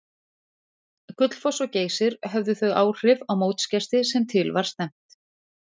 Gullfoss og Geysir höfðu þau áhrif á mótsgesti sem til var stefnt.